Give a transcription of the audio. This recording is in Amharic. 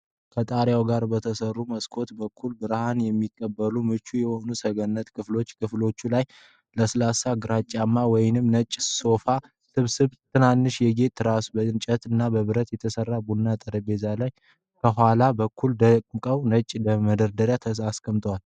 ከጣሪያው ጋር በተሰሩ መስኮቶች በኩል ብርሃን የሚቀበል ምቹ የሆነ ሰገነት ክፍል። ክፍሉ ላይ ለስላሳ ግራጫማ ወይም ነጭ የሶፋ ስብስብ፣ ትናንሽ የጌጥ ትራሶችና በእንጨት እና ብረት የተሰራ የቡና ጠረጴዛ አለ። ከኋላ በኩል ደግሞ ነጭ የመደርደሪያ ማስቀመጫ።